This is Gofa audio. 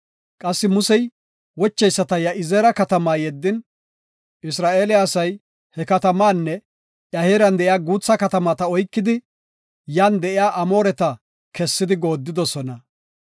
Qassi Musey wocheyisata Ya7izeera katamaa yeddin, Isra7eele asay he katamaanne iya heeran de7iya guutha katamata oykidi, yan de7iya Amooreta kessidi goodidosona.